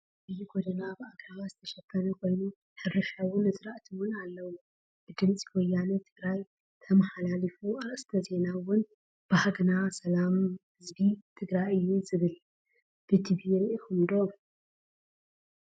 ዓቢይ ጎደና ብኣግራባት ዝተሸፈነ ኮይኑ ሕርሻወይ ኣዝርእቲ እውን ኣለዉ። ብዲምፂ ወያነ ትግራይ ተመሓላሊፉ ኣርእስተ ዜና እውን ባህግና ሰላም ህዝቢ ትግራይ እዩ እብል ።ብቲቪ ሪኢክምዎ ዶ?